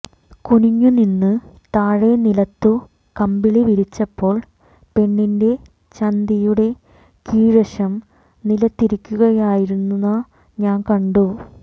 കുനിഞ്ഞു നിന്ന് താഴെ നിലത്തു കമ്പിളി വിരിച്ചപ്പോൾ പെണ്ണിന്റെ ചന്ദിയുടെ കീഴ്വശം നിലത്തിരിക്കുകയായിരുന്ന ഞാൻ കണ്ടു